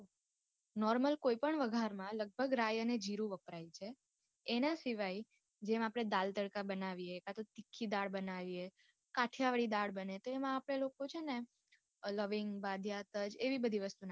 Normal કોય પણ વઘાર માં લગભગ રાય અને જીરું વપરાય છે એના સિવાય જેમ આપડે દાળ તડકા બનાવીએ કાતો તીખી દાળ બનાવીએ કઠિયાવાડી દાળ બને તો એમાં પેલું છે ને અ લવિંગ, બાદીયા, તજ એવી બધી વસ્તુ નાખે.